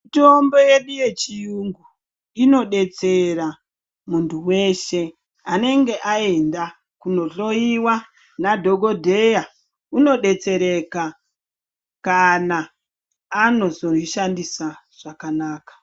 Mitombo yedu yechiyungu inobetsera mundu weshee anenge ayenda kunohloyiwa nadhokodheya unobetsereka kana anozoyishandisa zvakanaka.